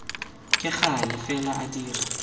ka gale fela a dira